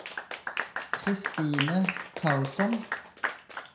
Kristine Karlsson